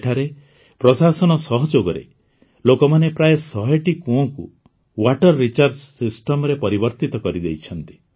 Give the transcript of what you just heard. ଏଠାରେ ପ୍ରଶାସନ ସହଯୋଗରେ ଲୋକମାନେ ପ୍ରାୟଃ ଶହେଟି କୁଅଁକୁ ୱାଟର୍ ରିଚାର୍ଜ ସିଷ୍ଟମ୍ରେ ପରିବର୍ତିତ କରିଦେଇଛନ୍ତି